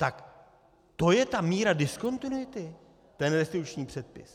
Tak to je ta míra diskontinuity, ten restituční předpis?